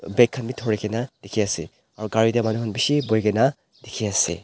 Bag khan be tho re kena dekhe ase aro manu khan gare te beshe bohe kena dekhe ase.